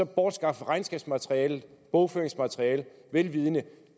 bortskaffe regnskabsmaterialet bogføringsmaterialet vel vidende at